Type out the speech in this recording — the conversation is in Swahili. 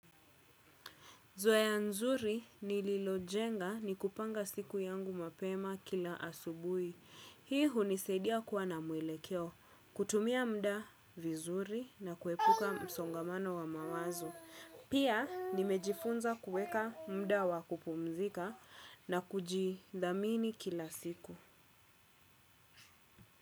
Zoea nzuri nililojenga ni kupanga siku yangu mapema kila asubuhi. Hii hunisaidia kuwa na mwelekeo, kutumia muda vizuri na kuepuka msongamano wa mawazo. Pia nimejifunza kuweka muda wa kupumzika na kujidhamini kila siku.